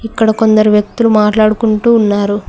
ఇక్కడ కొందరు వ్యక్తులు మాట్లాడుకుంటూ ఉన్నారు.